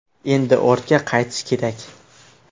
Endi ortga qaytish kerak.